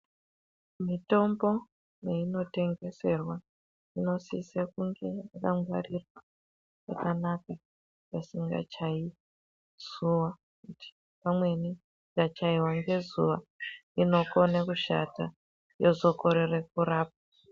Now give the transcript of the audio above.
Mitombo peinotengeserwa inosise kunge yakangwarirwa pakanaka peisongachayiwi ngezuwa ngekuti pamweni ikachayiwa ngezuwa inokone kushata yozokorere kurapa.